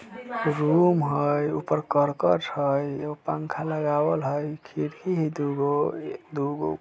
रूम हई ऊपर करकट हई एगो पंखा लगावल हई खिड़की ही दुगो-दुगो ।